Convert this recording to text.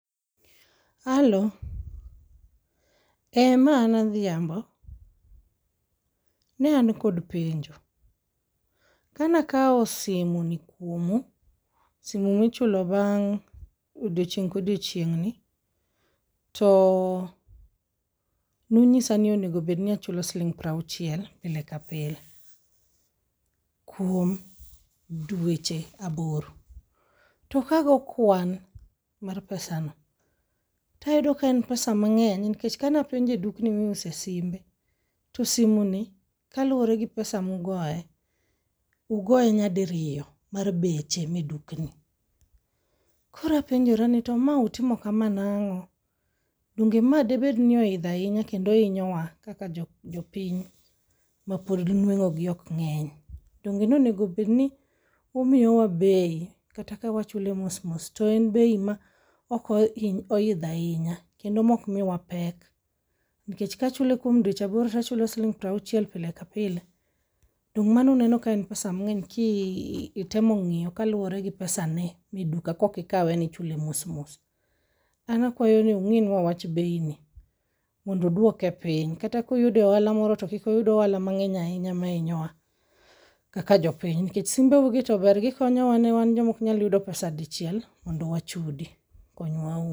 Alo, ma an Adhiambo, ne an kod penjo. Kana kawo simu ni kuomu sime michulo bang' odiochieng' kodiochieng'ni to nunyisa ni onego bed ni achulo siling piero auchiel pile ka pile kuom dweche aboro. To kago kwan mar pesa no tayudo ka en pesa mang'eny nikech kana penjo dukni miuse simbe to simu ni kaluwore gi pesa mugoye ugoye nyadiriyo mar beche me dukni. Koro apenjora ni to ma utimo kama nang'o. Donge ma dibed ni oidho ahinya kendo hinyowa kaka jopiny mapod nweng'o gi ok ng'eny. Donge onego bed ni umiyo wa bei kata ka wachule mos mos to en bei ma ok ohidho ahinya kendo mok miwa pek, nikech ka wachule kuom dweche aboro to wachulo siling piero auchiel pile ka pile dong' mano uneno ka en pesa mang'eny kitemo ng'iyo kaluwore gi pesa ne meduka kokikawe nichule mosmos. An akwayo ni ung'inwa wach bei ni kata kuyude ohala moro to kik uyud mang'eny ahinya ma inyowa kaka jopiny nikech simbe u gi to ber gikonyowa ne wan joma ok nyal yudo pesa dichiel mondo wachudi konywauru